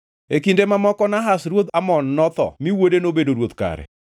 E kinde mamoko Nahash ruodh Amon notho mi wuode nobedo ruoth kare.